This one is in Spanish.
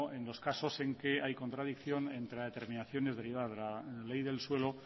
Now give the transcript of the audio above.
en los casos en que hay contradicción entre las determinaciones derivadas de la ley del suelo